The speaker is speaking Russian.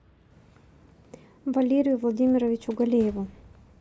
валерию владимировичу галееву